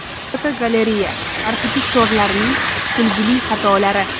Fotogalereya: Arxitektorlarning kulgili xatolari.